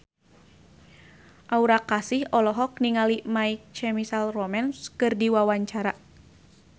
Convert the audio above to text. Aura Kasih olohok ningali My Chemical Romance keur diwawancara